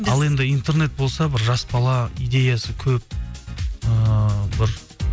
ал енді интернет болса бір жас бала идеясы көп ыыы бір